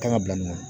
Kan ka bila nin na